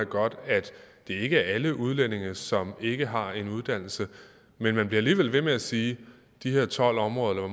godt at det ikke er alle udlændinge som ikke har en uddannelse men man bliver alligevel ved med at sige at de her tolv områder